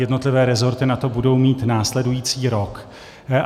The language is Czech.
Jednotlivé resorty na to budou mít následující rok.